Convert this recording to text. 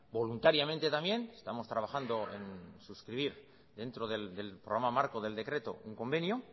voluntariamente también estamos trabajando en suscribir dentro del programa marco del decreto un convenio